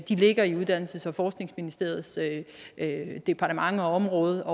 ligger i uddannelses og forskningsministeriets departement og område